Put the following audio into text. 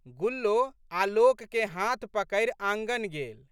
गुल्लो आलोक के हाथ पकड़ि आँगन गेल।